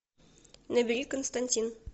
набери константин